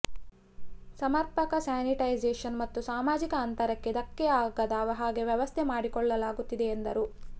ಸಮರ್ಪಕ ಸ್ಯಾನಿಟೈಸೇಷನ್ ಮತ್ತು ಸಾಮಾಜಿಕ ಅಂತರಕ್ಕೆ ಧಕ್ಕೆ ಆಗದ ಹಾಗೆ ವ್ಯವಸ್ಥೆ ಮಾಡಿಕೊಳ್ಳಲಾಗುತ್ತಿದೆ ಎಂದರು